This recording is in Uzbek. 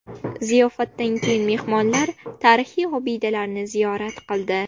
Ziyofatdan keyin mehmonlar tarixiy obidalarni ziyorat qildi.